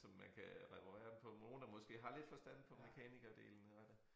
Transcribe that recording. Som man kan reparere den på nogen der måske har lidt forstand på mekanikerdelen af det